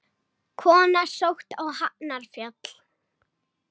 Kona sótt á Hafnarfjall